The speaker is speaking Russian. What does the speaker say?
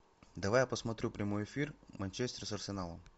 давай я посмотрю прямой эфир манчестер с арсеналом